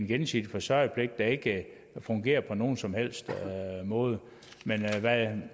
gensidige forsørgerpligt der ikke fungerer på nogen som helst måde men